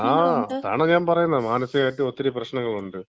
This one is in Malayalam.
ആ അതാണ് ഞാൻ പറയുനനത് മാനസികമായിട്ടും ഒത്തിരി പ്രശ്നങ്ങളുണ്ട്.